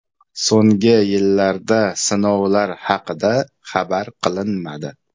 So‘nggi yillarda sinovlar haqida xabar qilinmadi.